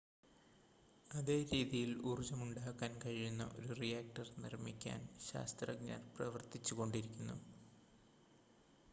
അതേ രീതിയിൽ ഊർജ്ജം ഉണ്ടാക്കാൻ കഴിയുന്ന ഒരു റിയാക്ടർ നിർമ്മിക്കാൻ ശാസ്ത്രജ്ഞർ പ്രവർത്തിച്ചു കൊണ്ടിരിക്കുന്നു